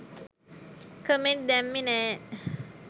කමෙන්ටි දැමිමේ නෑ.